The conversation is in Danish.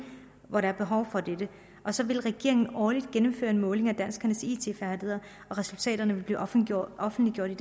hvor der var behov for dette og så ville regeringen årligt gennemføre en måling af danskernes it færdigheder og resultaterne ville blive offentliggjort offentliggjort i